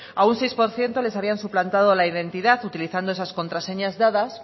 a un seis por ciento les habían suplantado la identidad utilizando esas contraseñas dadas